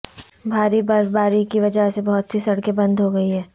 بھاری برفباری کی وجہ سے بہت سی سڑکیں بند ہوگئی ہیں